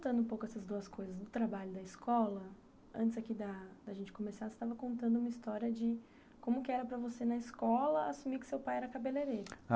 E aí, juntando um pouco essas duas coisas no trabalho da escola, antes aqui da da gente começar, você estava contando uma história de como que era para você, na escola, assumir que seu pai era cabeleireiro.